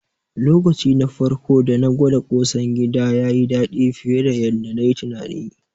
Lokaci na farko dana gwada ƙosan gida, yayi daɗi fiye da yanda nayi tunani.